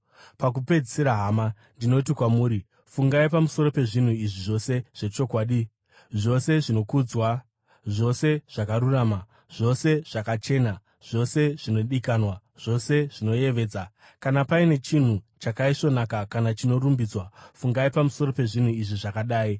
Pakupedzisira hama, ndinoti kwamuri: fungai pamusoro pezvinhu izvi zvose zvechokwadi, zvose zvinokudzwa, zvose zvakarurama, zvose zvakachena, zvose zvinodikanwa, zvose zvinoyevedza, kana paine chinhu chakaisvonaka kana chinorumbidzwa, fungai pamusoro pezvinhu izvi zvakadai.